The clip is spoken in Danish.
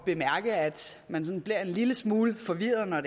bemærke at man sådan bliver en lille smule forvirret når